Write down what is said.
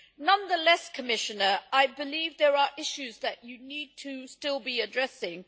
Nonetheless, Commissioner, I believe there are issues that you still need to be addressing.